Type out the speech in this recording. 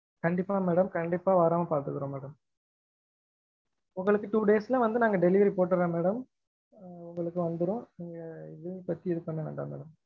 கண்டீப்பா madam கண்டீப்பா வராம பார்த்துக்குரொம் madam உங்களுக்கு two days ல வந்து நாங்க delivery போட்டுரொம் madam ஆஹ் உங்களுக்கும் வந்துடும் ஆஹ் எதுவும் நீங்க feel பண்ணவேண்டாம் madam